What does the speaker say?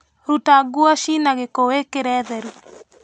Ruta nguo cinagĩko wĩkĩre theru.